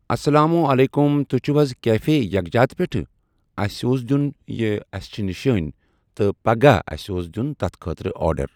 اسلام علیکُم تُہۍ چھِو حظ کیفے یکجات پٮ۪ٹھٕ اسہِ اوس دِیُن یہِ اسہِ چھِ نِشٲنۍ تٕہ پگہہ اسہِ اوس دیُن تتھ خٲطرٕ آرڈر۔